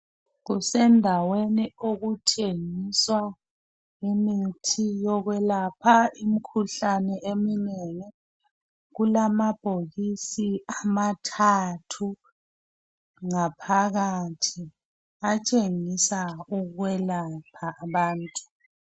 Kusendaweni okuthengiswa imithi yokwelapha imikhuhlane eminengi. Kulamabhokisi amathathu ngaphakathi atshengisa ukwelapha abantu.